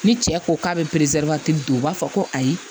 Ni cɛ ko k'a be don u b'a fɔ ko ayi